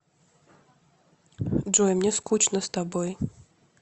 джой мне скучно с тобой